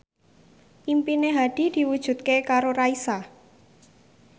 impine Hadi diwujudke karo Raisa